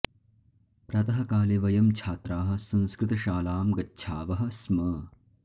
प्रातः काले वयं छात्राः संस्कृत शालां गच्छावः स्म